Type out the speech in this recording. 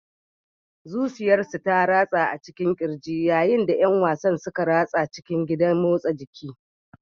Zuciyarsu ta harba a cikin ƙirji yayin da ƴan wasan suka ratsa cikin gidan motsa jiki.